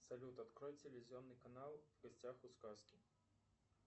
салют открой телевизионный канал в гостях у сказки